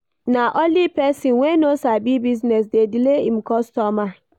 Na only pesin wey no sabi business dey delay im customer.